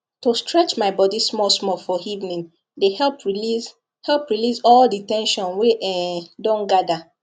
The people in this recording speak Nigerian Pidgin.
to stretch my body small small for evening dey help release help release all the ten sion wey um don gather